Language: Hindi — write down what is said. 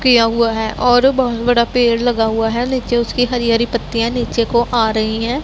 किया हुआ है और बहोत बड़ा पेड़ लगा हुआ है नीचे उसकी हरी हरी पत्तियां नीचे को आ रही हैं।